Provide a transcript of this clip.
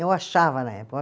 Eu achava na